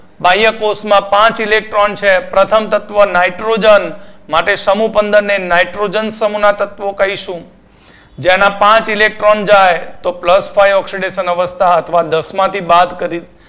બાહ્ય કોષમાં પાંચ electron છે પ્રથમ તત્વ nitrogen માટે સમુહ પંદર ને nitrogen સમુહના તત્વો કહીશું જેના પાંચ electron જાય તો plus five oxidation અવસ્થા અથવા દસમાથી બાદ કરી